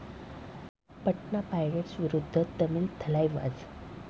Patna Pirates विरुद्ध तमिल थलाइवाज